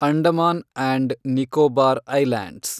Andaman and Nicobar islands